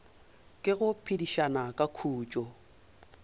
ke go phedišana ka khutšo